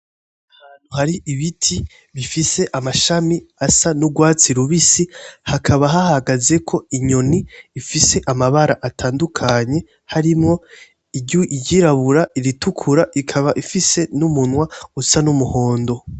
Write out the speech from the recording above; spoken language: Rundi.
Ahantu hari ibiti bifise amashami asa n'urwatsi rubisi hakaba hahagaze ko inyoni ifise amabara atandukanye harimwo iryirabura iritukura ikaba ifise n'umunwa usa n'umuhondo.